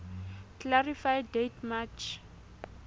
clarify date march